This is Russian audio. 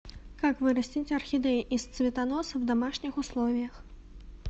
как вырастить орхидею из цветоноса в домашних условиях